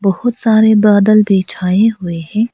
बहोत सारे बदल भी छाए हुए हैं।